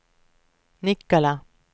Nikkala